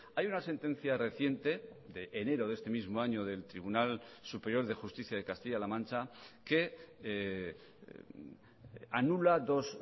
hay una sentencia reciente de enero de este mismo año del tribunal superior de justicia de castilla la mancha que anula dos